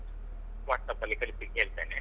Whats App ಅಲ್ಲಿ ಕಳಿಸ್ಲಿಕ್ ಹೇಳ್ತೇನೆ.